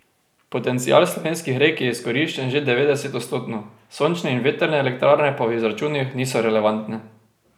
Potencial slovenskih rek je izkoriščen že devetdesetodstotno, sončne in vetrne elektrarne pa v izračunih niso relevantne.